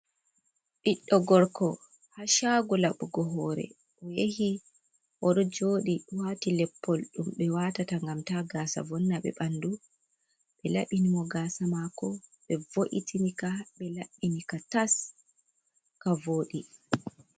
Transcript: Ɓiɗɗo gorko ha cagu laɓugo hore o yahi oɗo joɗi wati leppol ɗum ɓe watata ngam ta gasa vonna ɓe ɓanɗu, ɓe laɓɓini mo gasa mako ɓe vo’itini ka, ɓe laɓɓini ka tas, ka voɗi.